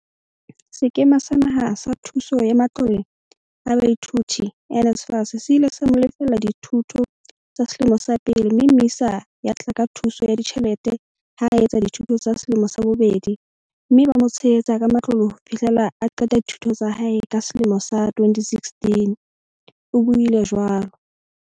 "Sekema sa Naha sa Thuso ya Matlole a Baithuti, NSFAS, se ile sa mo lefella dithuto tsa selemo sa pele mme MISA ya tla ka thuso ya ditjhelete ha a etsa dithuto tsa selemo sa bobedi mme ba mo tshehetsa ka matlole ho fihlela a qeta dithuto tsa hae ka selemo sa 2016," o buile jwalo.